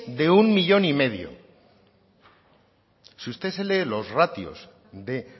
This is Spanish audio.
de un millón y medio si usted se lee los ratios de